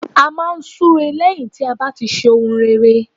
A máa n súre lẹ́yìn tí a bá ti ṣe ohun rere